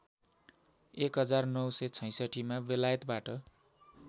१९६६मा बेलायतबाट